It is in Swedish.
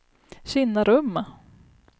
Kinnarumma